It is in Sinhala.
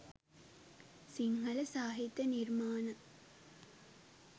සිංහල සාහිත්‍ය නිර්මාණ